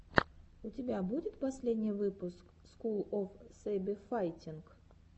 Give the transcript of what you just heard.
у тебя будет последний выпуск скул оф сэйбэфайтинг